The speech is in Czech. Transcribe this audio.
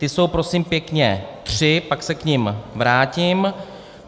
Ty jsou prosím pěkně tři, pak se k nim vrátím.